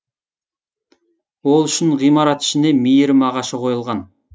ол үшін ғимарат ішіне мейірім ағашы қойылған